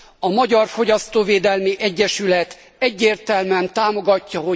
A Magyar Fogyasztóvédelmi Egyesület egyértelműen támogatja.